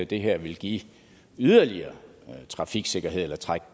det her ville give yderligere trafiksikkerhed eller trække